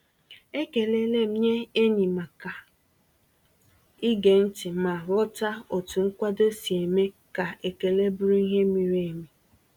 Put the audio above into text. Ekelele m nye enyi maka ige ntị ma ghọta otu nkwado si eme ka ekele bụrụ ihe miri emi.